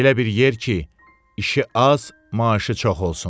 Elə bir yer ki, işi az, maaşı çox olsun.